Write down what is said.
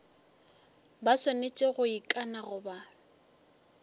ba swanetše go ikana goba